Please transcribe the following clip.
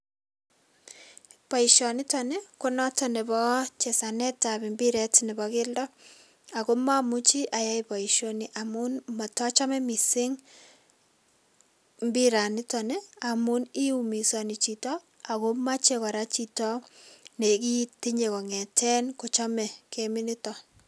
Boisonitoni ko notok nepo chesanet ap mbiret nebo keldo, ako mamuchi ayai boisoni amun matachame mising mbiranitoni amun iumisani chito, ako mache kora chito ne kii tinye kong'eten kochame kemit nitoni